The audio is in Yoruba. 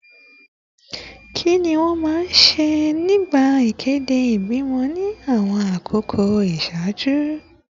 Kí ni wọ́n máa ń ṣe nígbà ìkéde ìbímọ ní àwọn àkókò ìṣáájú?